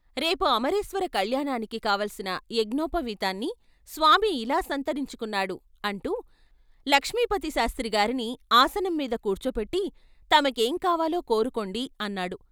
రేపు అమరేశ్వర కల్యాణానికి కావాల్సిన యజ్ఞోపవీతాన్ని స్వామి ఇలా సంతరించుకున్నాడు ' అంటూ లక్ష్మీపతిశాస్త్రిగారిని ఆసనంమీద కూర్చో పెట్టి "తమకేం కావాలో కోరుకోండి " అన్నాడు.